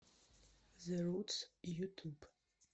зе рутс ютуб